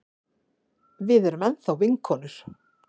Við erum enn þá vinkonur.